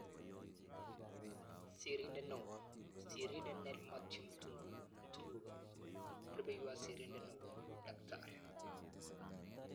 Sirindet neoo(sirindet nell Methew Mtigumwe. Rupeiywot sirindet neoo-Dkt